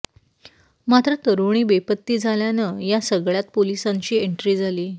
मात्र तरुणी बेपत्ती झाल्यानं या सगळ्यात पोलिसांची एंट्री झाली